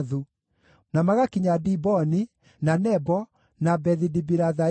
na magakinya Diboni, na Nebo, na Bethi-Dibilathaimu,